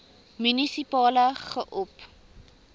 munisipale gop